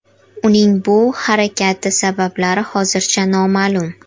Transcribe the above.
Uning bu harakati sabablari hozircha noma’lum.